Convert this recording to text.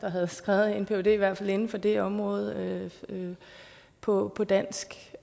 havde skrevet en phd i hvert fald inden for det område på dansk